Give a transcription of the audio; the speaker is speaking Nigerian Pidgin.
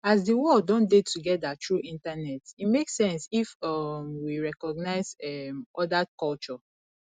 as di world don dey together through internet e make sense if um we recognise um oda culture